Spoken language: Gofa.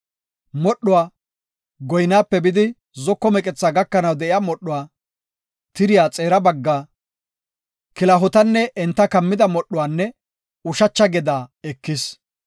Modhdhuwa, goynaape bidi zoko meqethaa gakanaw de7iya modhuwa, tiriya xeera baggaa, kilahotanne enta kammida modhuwanne ushacha gedaa ekis.